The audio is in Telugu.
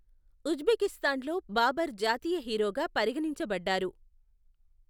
ఉజ్బెకిస్తాన్లో బాబర్ జాతీయ హీరోగా పరిగణించబడ్డారు.